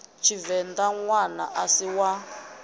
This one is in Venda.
tshivenḓa ṋwana a si wa